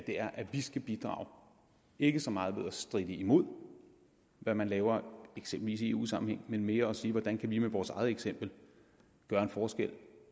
er at vi skal bidrage ikke så meget ved at stritte imod hvad man laver eksempelvis i eu sammenhæng men mere ved at sige hvordan kan vi med vores eget eksempel gøre en forskel